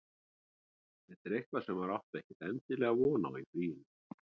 Þetta er eitthvað sem maður átti ekkert endilega von á í fríinu.